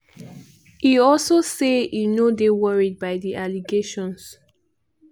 e also say e no dey worried by di allegations.